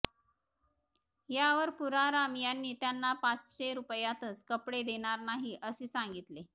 यावर पुराराम यांनी त्यांना पाचशे रुपयातच कपडे देणार नाही असे सांगितले